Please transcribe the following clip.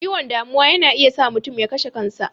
Ciwon damuwa yana iya sa mutum ya kashe kan sa.